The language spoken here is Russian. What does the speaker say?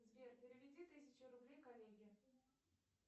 сбер переведи тысячу рублей коллеге